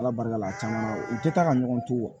Ala barika la a caman u tɛ taa ka ɲɔgɔn to wo